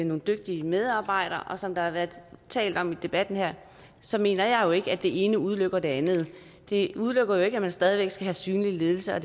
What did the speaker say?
nogle dygtige medarbejdere som der har været talt om i debatten her så mener jeg jo ikke at det ene udelukker det andet det udelukker jo ikke at man stadig væk skal have synlig ledelse og